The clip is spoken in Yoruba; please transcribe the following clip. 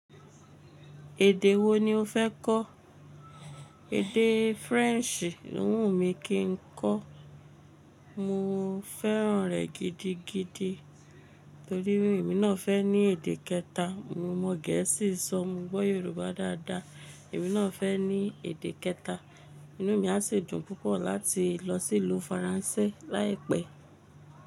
Èdè wo ni o fẹ́ kọ́? Èdè French lo wù mí kí n kọ́. Mo fẹ́ràn rẹ̀ gidigidi torí èmi náà fẹ́ ní èdè kẹta. Mo mọ Gẹ̀ẹ́sì sọ, mo gbọ́ Yorùbá dáadáa èmi náà fẹ́ ní èdè kẹta. Inú mi a si dùn púpọ̀ láti lọ sí ìlú Faransé láìpẹ́.